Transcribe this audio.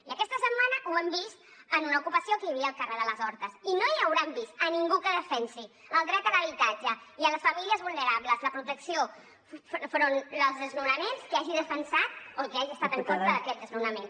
i aquesta setmana ho hem vist en una ocupació que hi havia al carrer de les hortes i no hi hauran vist a ningú que defensi el dret a l’habitatge i a les famílies vulnerables la protecció enfront dels desnonaments que hagi defensat o que hagi estat en contra d’aquest desnonament